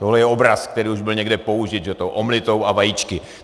Tohle je obraz, který už byl někde použit, s tou omeletou a vajíčky.